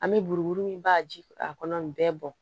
An bɛ buruburu min b'a jira a kɔnɔ nin bɛɛ bɔn